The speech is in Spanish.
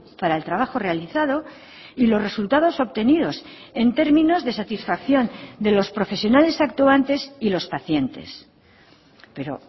para el trabajo realizado y los resultados obtenidos en términos de satisfacción de los profesionales actuantes y los pacientes pero